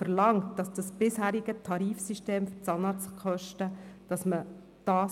Sie verlangen, dass man das bisherige Tarifsystem der Zahnarztkosten beibehält.